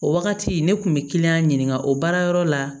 O wagati ne kun bɛ kiliyan ɲininka o baara yɔrɔ la